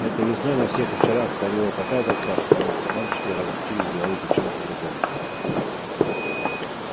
этой весной на всех вечерах царила такая тоска потому что мальчики разучились говорить о чем-либо другом